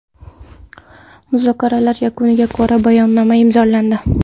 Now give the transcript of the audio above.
Muzokaralar yakuniga ko‘ra bayonnoma imzolandi.